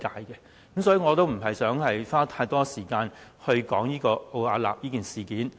所以，我不想花太多時間說奧雅納方面的問題。